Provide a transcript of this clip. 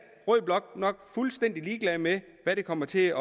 nok fuldstændig ligeglad med hvad det kommer til at